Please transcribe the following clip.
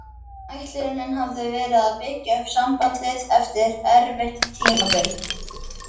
Ætlunin hafði verið að byggja upp sambandið eftir erfitt tímabil.